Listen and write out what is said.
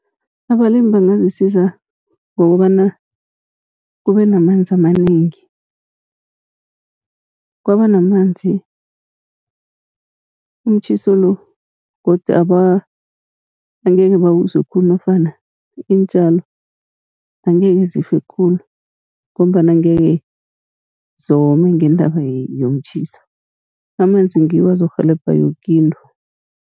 Abalimi bangazisiza ngokobana kube namanzi amanengi, kwaba namanzi umtjhiso lo godu angekhe bawuzwe khulu nofana iintjalo angekhe zife khulu, ngombana angekhe zome ngendaba yomtjhiso. Amanzi ngiwo azokurhelebha yoke into.